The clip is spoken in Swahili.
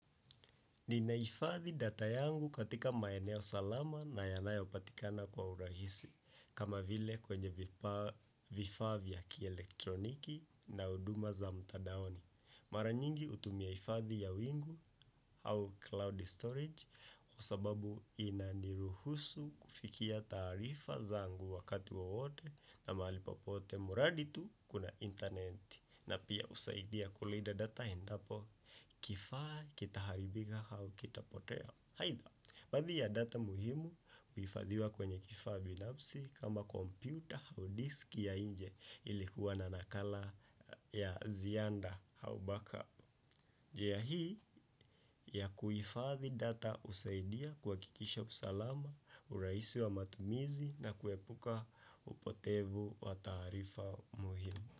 Ninaifadhi data yangu katika maeneo salama na yanayopatikana kwa urahisi, kama vile kwenye vifaa vya kielektroniki na uduma za mtadaoni. Mara nyingi hutumia ifadhi ya wingu au cloud storage kwa sababu inaniruhusu kufikia taarifa zangu wakati wowote na mahali popote muradhi tu kuna internet na pia husaidia kulida data endapo kifaa kitaharibika au kitapotea. Aitha, baadhi ya data muhimu uhifadhiwa kwenye kifaa binafsi kama komputa au disk ya inje ili kuwa na nakala ya ziada au backup. Njia hii ya kuhifadhi data husaidia kuhakikisha usalama, urahisi wa matumizi na kuepuka upotevu wa taarifa muhimu.